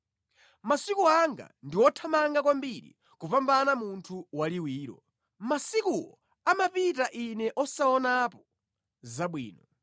“Masiku anga ndi othamanga kwambiri kupambana munthu waliwiro; masikuwo amapita ine osaonapo zabwino.